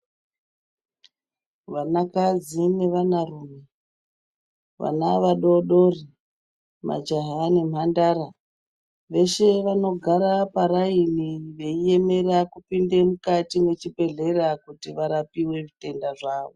Vanakadzi nevanarume, vana vadodori majaha nemhandara veshe vanogara paraini veiemera kupinda mukati mechibhedhlera kuti varapiwe zvitenda zvavo.